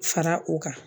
Fara u kan